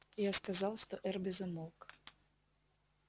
я сказал что эрби замолк